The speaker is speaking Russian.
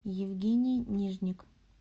евгений нижник